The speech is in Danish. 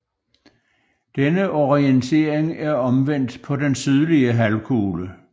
Denne orientering er omvendt på den sydlige halvkugle